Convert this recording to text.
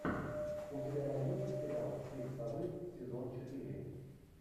у тебя найдется сериал крик совы сезон четыре